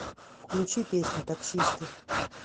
включи песню таксисты